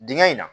Dingɛ in na